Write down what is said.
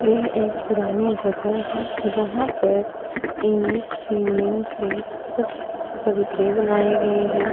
यह एक पुरानी जगह है जहां पर ईट सीमेंट से कुछ चबूतरे बने गए है।